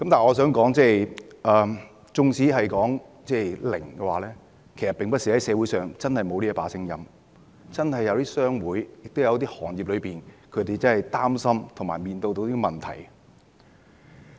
我想說的是，縱使是零侍產假，社會上其實也並非沒有這種聲音，有一些商會或行業真的會擔心和面對一些問題。